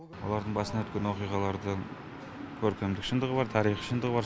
олардың басынан өткен оқиғалардың көркемдік шындығы бар тарихи шындығы бар